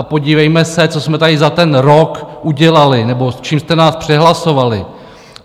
A podívejme se, co jsme tady za ten rok udělali nebo s čím jste nás přehlasovali.